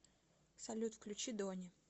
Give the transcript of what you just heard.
салют включи дони